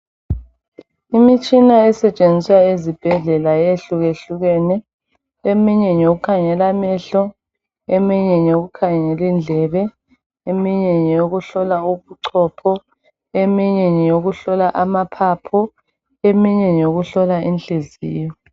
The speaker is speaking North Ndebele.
Imitshina esetshenziswa ezibhedlela yehlukehlukene. Eminye ngeyokukhangelamehlo, eminye ngeyokukhangela indlebe, eminye ngeyokuhlola ubuchopho eminye ngeyokuhlola amaphaphu, eminye ngeyokuhlola inhliziyo.